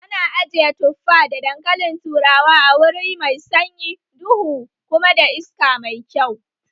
Ana ajiye tuffa da dankalin turawa a wuri mai sanyi, duhu kuma da iska mai kyau